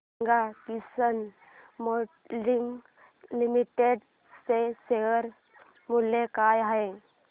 सांगा Kisan moulding Limited चे share मूल्य काय आहे